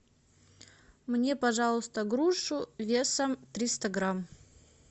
мне пожалуйста грушу весом триста грамм